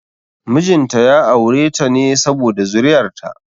Mijin ta ya aure ta ne saboda zuri'ar ta